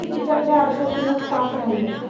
मी तिच्याकडे आरशातूनच पाहत राहिले.